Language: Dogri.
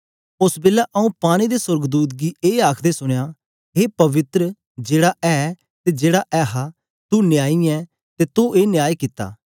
ओस बेलै आऊँ पानी दे सोर्गदूत गी ए आखदे सुनया ए पवित्र जेड़ा ऐ ते जेड़ा ऐहा तू न्यायी ऐ ते तो ए न्याय कित्ता